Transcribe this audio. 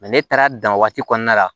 ne taara dan waati kɔnɔna la